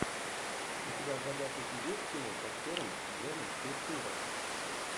у тебя в загашнике есть кино с актером джоном туртурро